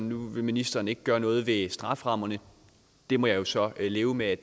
nu vil ministeren ikke gøre noget ved strafferammerne det må jeg så leve med er